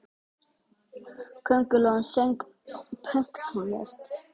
Köngulóin söng pönktónlist!